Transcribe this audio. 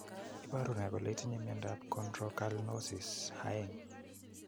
Iporu ne kole itinye miondap Chondrocalcinosis 2?